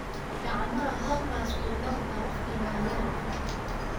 Gacmahaa halkaas kunaaqda wakhtigaa yare